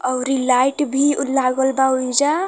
अउरी लाइट भी लागल बा ओहिजा।